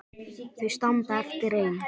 Þau standa eftir ein.